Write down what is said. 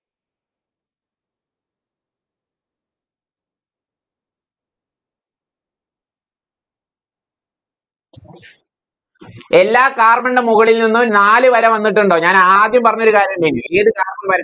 എല്ലാ Carbon ൻറെ മുകളിൽ നിന്നും നാല് വര വന്നിട്ടുണ്ടോ ഞാൻ ആദ്യം പറഞ്ഞൊരു കാര്യം ഇണ്ടയില്